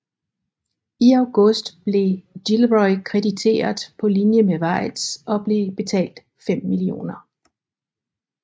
I august blev Gilroy krediteret på linje med Weitz og blev betalt 5 mio